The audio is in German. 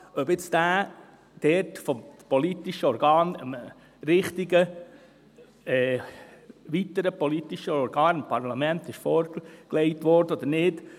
Ob der dort vom politischen Organ dem richtigen weiteren politischen Organ, dem Parlament, vorgelegt wurde oder nicht: